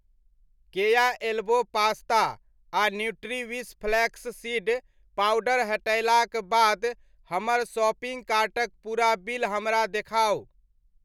केया elbow pasta आ Nutriwish flax seed powder हटयलाक बाद हमर शॉपिंग कार्टक पूरा बिल हमरा देखाउ।